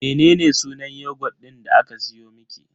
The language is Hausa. Mene sunan yogut din da aka siyo miki?